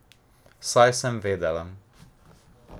Saj sem vedela.